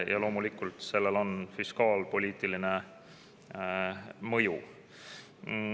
Ja loomulikult on sellel fiskaalpoliitiline mõju.